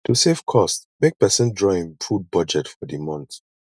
to save cost make persin draw im food budget for di month